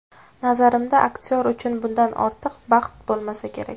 Nazarimda, aktyor uchun bundan ortiq baxt bo‘lmasa kerak.